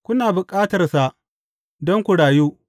Kuna bukatarsa don ku rayu.